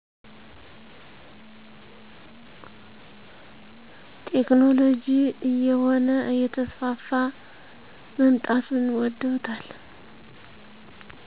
ቴክኖሎጅ እየሆነ እየተስፋፋ መምጣቱን ውደውታል